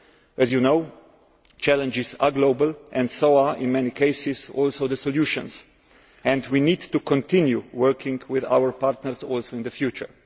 As you know, the challenges are global as are, in many cases, the solutions and we need to continue working with our partners also in the future.